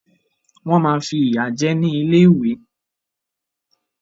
Wọ́n máa fìyà jẹ ẹ́ nílé ìwé